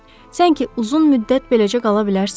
Sən ki, uzun müddət beləcə qala bilərsən?